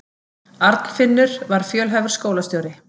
Arnfinnur var fjölhæfur skólastjóri.